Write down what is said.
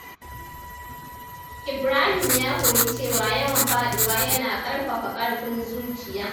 Ibrahim ya koyi cewa yawan faduwa yana karfafa ƙarfin zuciya.